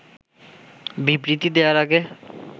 বিবৃতি দেয়ার আগে